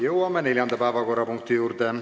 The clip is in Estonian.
Jõuame neljanda päevakorrapunkti juurde.